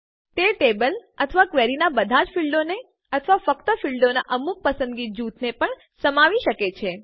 તે ટેબલ કોષ્ટક અથવા ક્વેરીના બધા જ ફીલ્ડોને અથવા ફક્ત ફીલ્ડોનાં અમુક પસંદિત જૂથને પણ સમાવી શકે છે